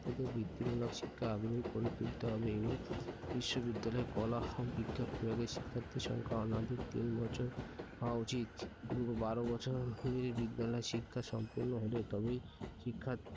থেকে বৃত্তিমূলক শিক্ষা আগ্রহী করে তুলতে হবে এবং বিশ্ববিদ্যালয়ের কলা ও বিজ্ঞান বিভাগের শিক্ষার্থী সংখ্যা অনধিক তিন বছর হওয়া উচিত। বারো বছরের বিদ্যালয় শিক্ষা সম্পন্ন হলে তবেই শিক্ষার্থী,